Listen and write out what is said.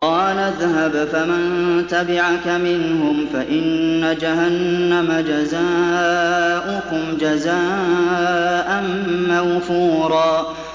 قَالَ اذْهَبْ فَمَن تَبِعَكَ مِنْهُمْ فَإِنَّ جَهَنَّمَ جَزَاؤُكُمْ جَزَاءً مَّوْفُورًا